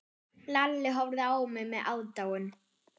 Lalli horfði á með aðdáun.